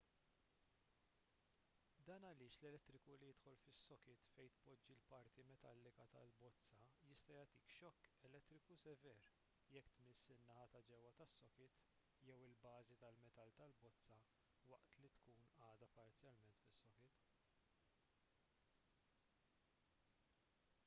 dan għaliex l-elettriku li jidħol fis-sokit fejn tpoġġi l-parti metallika tal-bozza jista' jagħtik xokk elettriku sever jekk tmiss in-naħa ta' ġewwa tas-sokit jew il-bażi tal-metall tal-bozza waqt li tkun għadha parzjalment fis-sokit